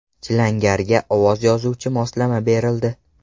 Chilangarga ovoz yozuvchi moslama berildi.